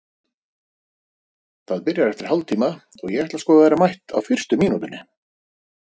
Það byrjar eftir hálftíma og ég ætla sko að vera mætt á fyrstu mínútunni.